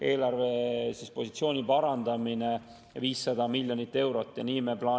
Eelarvepositsioon paraneb 500 miljoni euro.